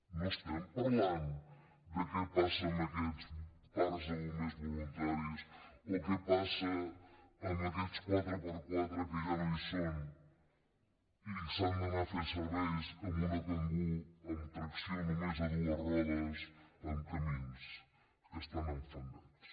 no estem parlant de què passa amb aquests parcs de bombers voluntaris o què passa amb aquests 4x4 que ja no hi són i s’ha d’anar a fer serveis amb una kangoo amb tracció només de dues rodes en camins que estan enfangats